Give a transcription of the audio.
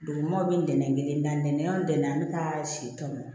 Dugumaw bɛ nɛnɛ kelen na nɛn o dɛnɛn an bɛ taa si tɔmɔ